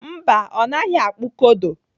Mba, ọ naghị akpụ kodo.